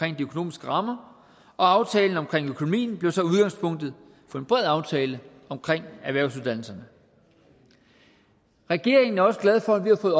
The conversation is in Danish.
økonomiske rammer og aftalen om økonomien blev så udgangspunktet for en bred aftale om erhvervsuddannelserne regeringen er også glad for at vi har fået